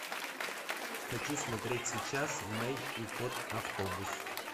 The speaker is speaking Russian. хочу смотреть сейчас мэй и кот автобус